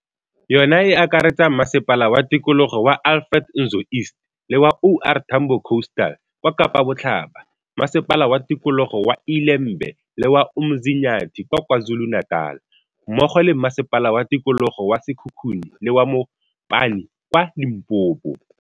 Yona e akaretsa Masepala wa Tikologo wa Alfred Nzo East le wa O R Tambo Coasta l kwa Kapa Botlhaba, Masepala wa Tikologo wa ILe mbe le wa UMzinyathi kwa KwaZulu-Natal, mmogo le Masepala wa Tikologo wa Sekhukhune le wa Mopani kwa Limpopo.